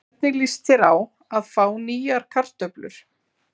Hvernig líst þér á að fá nýjar kartöflur?